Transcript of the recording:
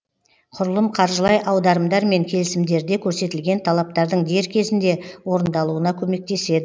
құрылым қаржылай аударымдар мен келісімдерде көрсетілген талаптардың дер кезінде орындалуына көмектеседі